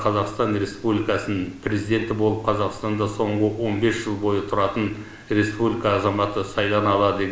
қазақстан республикасының президенті болып қазақстанда соңғы он бес жыл бойы тұратын республика азаматы сайлана алады